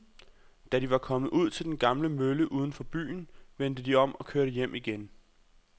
Da de var kommet ud til den gamle mølle uden for byen, vendte de om og kørte hjem igen.